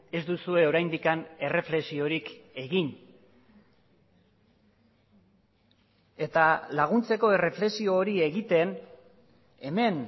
ez duzue oraindik erreflexiorik egin eta laguntzeko erreflexio hori egiten hemen